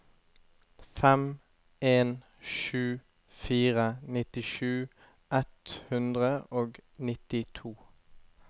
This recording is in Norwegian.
fem en sju fire nittisju ett hundre og nittito